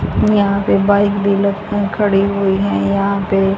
यहां पे बाइक खड़ी हुई हैं यहां पे--